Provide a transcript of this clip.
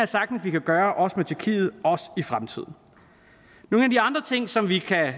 sagtens at vi kan gøre også med tyrkiet og også i fremtiden nogle af de andre ting som vi kan